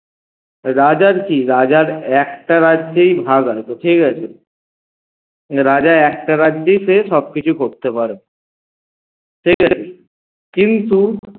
রাজার কী রাজার একটা রাজ্যেই ভাগ আছে ঠিকাছে রাজা একটা রাজ্যেই সে সবকিছু করতে পারবে ঠিকাছে কিন্তু